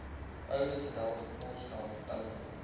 ouditgelde posgeld telefoon